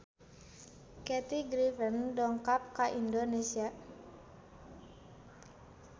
Kathy Griffin dongkap ka Indonesia